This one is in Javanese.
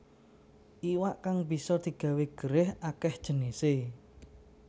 Iwak kang bisa digawé gerèh akéh jinisé